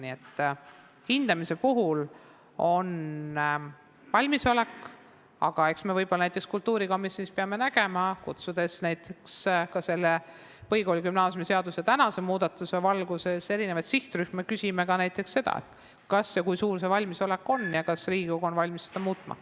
Nii et hindamise puhul on valmisolek olemas, aga eks me võib-olla kultuurikomisjonis, kutsudes näiteks ka selle põhikooli- ja gümnaasiumiseaduse tänase muudatuse valguses sinna sihtrühmi, küsime ka seda, kas see valmisolek on, kui suur see on ja kas Riigikogu on valmis seda seadust muutma.